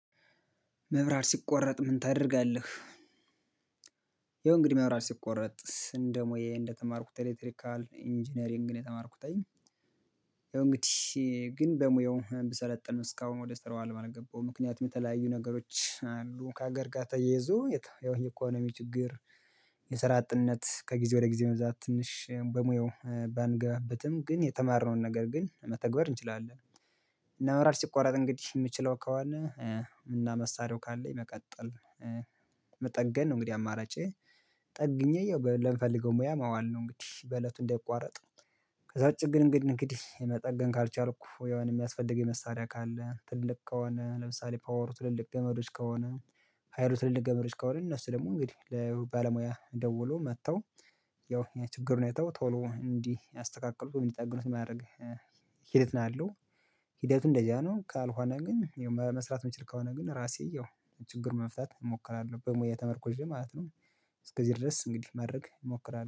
መብራት ሲቆረጥ ምን ታደርጋለህ? ይኸው እንግዲህ መብራት ሲቆረጥ ስንት ሙያ እንደተማርኩት ኤሌክትሪካል ኢንጂነሪንግን የተማርኩት እኔ። ያው እንግዲህ ግን በሙያው ብሰለጥን እስካሁን ወደ ስራው አለም አልገባሁም ምክንያቱም የተለያዩ ነገሮች አሉ ከሀገር ጋር ተያይዞ ያው የኢኮኖሚ ችግር። የሰራ አጥነት ከጊዜ ወደ ጊዜ መብዛት ትንሽ በሙያው ባንገባበትም ግን የተማርነውን ነገር ግን መተግበር እንችላለን። እና መራር ሲቆረጥ እንግዲህ የምችለው ከሆነ እና መሳሪያው ካለኝ መቀጠል መጠገን ነው እንግዲህ አማራጬ። ጠግኜ ያው ለምፈልገው ሙያ ማዋል ነው እንግዲህ በእለቱ እንዳይቋረጥ። ከዛ ውጪ ግን እንግዲህ እንግዲህ መጠገን ካልቻልኩ ያው እኔ የሚያስፈልገኝ መሳሪያ ካለ ትልልቅ ከሆነ ለምሳሌ ፓወሩ ትልልቅ ገመዶች ከሆነ ሀይሩ ትልልቅ ገመዶች ከሆነ እነሱ ደግሞ እንግዲህ ለባለሙያ ደውሎ መጥተው ያው ያ ችግሩን አይተው ቶሎ እንዲህ አስተካክሉ እንዲጠግኑት ማድረግ ሂደት ነው ያለው። ሂደቱን እንደዛ ነው ካልሆነ ግን መስራት የምችል ከሆነ ግን ራሴ ያው ችግር መፍታት እሞክራለሁ በሙያዬ ተመርኩዤ ማለት ነው። እስከዚህ ድረስ እንግዲህ ማድረግ እሞክራለሁ